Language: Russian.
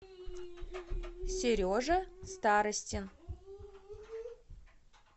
сережа старостин